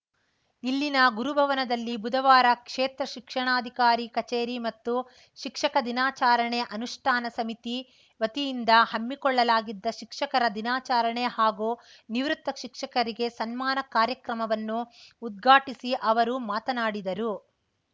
ಇಲ್ಲಿನ ಗುರು ಭವನದಲ್ಲಿ ಬುಧವಾರ ಕ್ಷೇತ್ರ ಶಿಕ್ಷಣಾಧಿಕಾರಿ ಕಚೇರಿ ಮತ್ತು ಶಿಕ್ಷಕ ದಿನಾಚಾರಣೆ ಅನುಷ್ಠಾನ ಸಮಿತಿ ವತಿಯಿಂದ ಹಮ್ಮಿಕೊಳ್ಳಲಾಗಿದ್ದ ಶಿಕ್ಷಕರ ದಿನಾಚಾರಣೆ ಹಾಗೂ ನಿವೃತ್ತ ಶಿಕ್ಷಕರಿಗೆ ಸನ್ಮಾನ ಕಾರ್ಯಕ್ರಮವನ್ನು ಉದ್ಘಾಟಿಸಿ ಅವರು ಮಾತನಾಡಿದರು